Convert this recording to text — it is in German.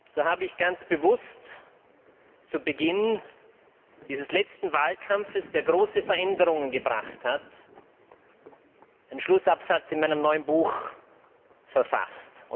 So habe ich ganz bewusst zu Beginn dieses letzten Wahlkampfes, der große Veränderungen gebracht hat, den Schlussabsatz in meinem neuen Buch verfasst.